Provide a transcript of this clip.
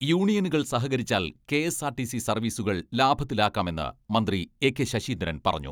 യൂണിയനുകൾ സഹകരിച്ചാൽ K S R T C സർവീസുകൾ ലാഭത്തിലാക്കാമെന്ന് മന്ത്രി എ കെ ശശീന്ദ്രൻ പറഞ്ഞു.